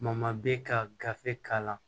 bɛ ka gafe k'a la